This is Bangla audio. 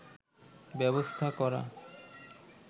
ব্যবস্থা করা